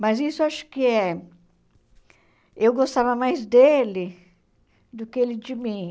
Mas isso acho que é... Eu gostava mais dele do que ele de mim.